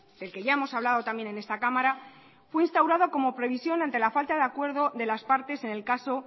del que ya hemos hablado también en esta cámara fue instaurado como previsión ante la falta de acuerdo de las partes en el caso